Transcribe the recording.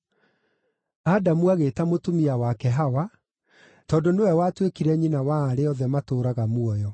Adamu agĩĩta mũtumia wake Hawa, tondũ nĩwe watuĩkire nyina wa arĩa othe matũũraga muoyo.